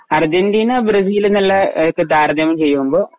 Argentina Brazil എന്നുള്ള താരതമ്യം ചെയ്യുമ്പോ